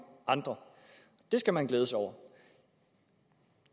andre det skal man glæde sig over